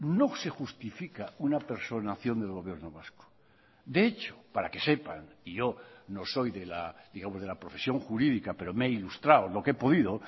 no se justifica una personación del gobierno vasco de hecho para que sepan y yo no soy de la profesión jurídica pero me he ilustrado lo que he podido